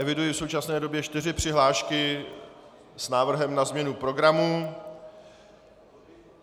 Eviduji v současné době čtyři přihlášky s návrhem na změnu programu.